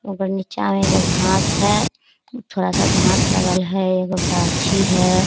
ओकर नीचा में एगो घास है। थड़ा-सा घास लगल है एगो गाछी है।